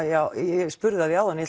já ég spurði að því áðan en